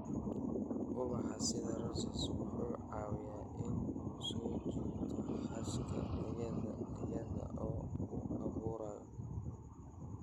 Ubaxa sida roses wuxuu caawiyaa in uu soo jiito xashka iyada oo uu abuurayo.